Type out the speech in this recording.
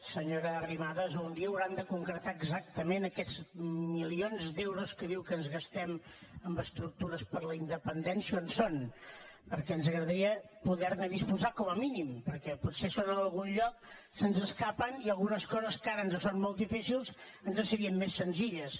senyora arrimadas un dia hauran de concretar exactament aquests milions d’euros que diu que ens gastem en estructures per a la independència on són perquè ens agradaria poder ne disposar com a mínim perquè potser són en algun lloc se’ns escapen i algunes coses que ara ens són molt difícils ens serien més senzilles